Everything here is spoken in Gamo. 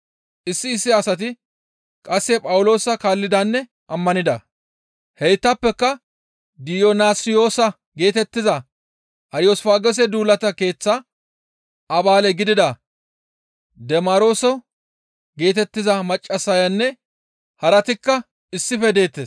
Issi issi asati qasse Phawuloosa kaallidanne ammanida; heytappeka Diyonassiyoosa geetettiza Ariyosfaagoose duulata keeththa Abaale gidida Deemarso geetettiza maccassayanne haratikka issife deettes.